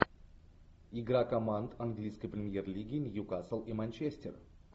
игра команд английской премьер лиги ньюкасл и манчестер